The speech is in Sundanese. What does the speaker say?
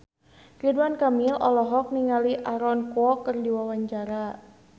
Ridwan Kamil olohok ningali Aaron Kwok keur diwawancara